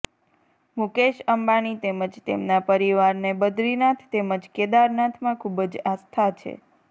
મુકેશ અંબાણી તેમજ તેમના પરિવારને બદ્રીનાથ તેમજ કેદારનાથમાં ખુબ જ આસ્થા છે